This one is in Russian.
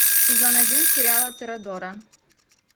сезон один сериала торадора